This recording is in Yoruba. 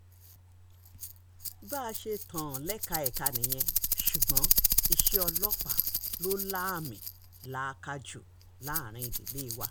bá a ṣe tán lẹ́ka ẹ̀ka nìyẹn ṣùgbọ́n iṣẹ́ ọlọ́pàá ló láàmì-làaka jù láàrin ìdílé wa